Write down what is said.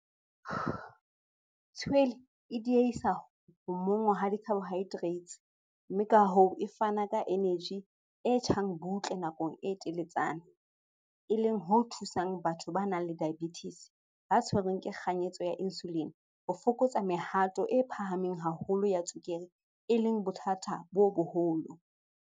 Tshwele e diehisa ho monngwa ha di-carbohydrates, mme ka hoo e fana ka eneji e tjhang butle nakong e teletsana, e leng ho thusang batho ba nang le diabetes, ba tshwerweng ke kganyetso ya insulin ho fokotsa mehato e phahameng haholo ya tswekere, e leng bothata bo boholo.